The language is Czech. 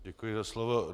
Děkuji za slovo.